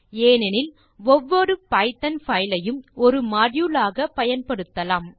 ஏனெனில் ஒவ்வொரு Python file ஐயும் ஒரு மாடியூல் ஆக பயன்படுத்தலாம்